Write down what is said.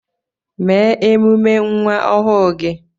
Mee emume nwa ọhụụ gị